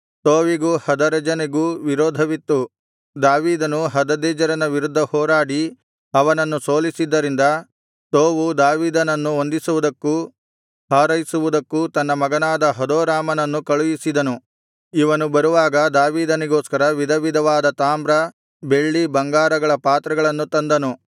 ತೋವಿಗೂ ಹದರೆಜನಿಗೂ ವಿರೋಧವಿತ್ತು ದಾವೀದನು ಹದದೆಜರನ ವಿರುದ್ಧ ಹೋರಾಡಿ ಅವನನ್ನು ಸೋಲಿಸಿದ್ದರಿಂದ ತೋವು ದಾವೀದನನ್ನು ವಂದಿಸುವುದಕ್ಕೂ ಹಾರೈಸುವುದಕ್ಕೂ ತನ್ನ ಮಗನಾದ ಹದೋರಾಮನನ್ನು ಕಳುಹಿಸಿದನು ಇವನು ಬರುವಾಗ ದಾವೀದನಿಗೋಸ್ಕರ ವಿಧವಿಧವಾದ ತಾಮ್ರ ಬೆಳ್ಳಿ ಬಂಗಾರಗಳ ಪಾತ್ರೆಗಳನ್ನು ತಂದನು